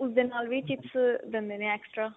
ਉਸ ਦੇ ਨਾਲ ਵੀ chips ਦਿੰਦੇ ਨੇ extra